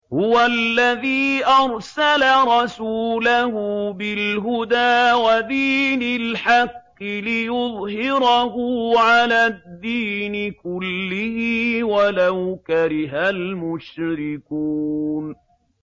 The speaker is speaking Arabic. هُوَ الَّذِي أَرْسَلَ رَسُولَهُ بِالْهُدَىٰ وَدِينِ الْحَقِّ لِيُظْهِرَهُ عَلَى الدِّينِ كُلِّهِ وَلَوْ كَرِهَ الْمُشْرِكُونَ